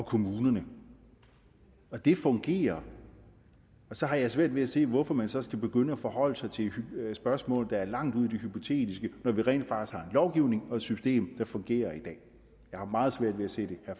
og kommunerne og det fungerer så jeg har svært ved at se hvorfor man så skal begynde at forholde sig til spørgsmål der er langt ude i det hypotetiske når vi rent faktisk har lovgivning og et system der fungerer i dag jeg har meget svært ved at se det